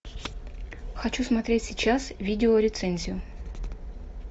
хочу смотреть сейчас видео рецензию